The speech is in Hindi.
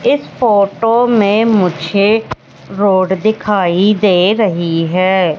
इस फोटो में मुझे रोड दिखाई दे रही है।